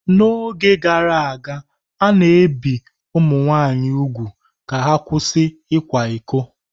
N'oge gara aga, a na-ebi ụmụ nwanyị úgwù ka ha kwụsị ịkwa iko.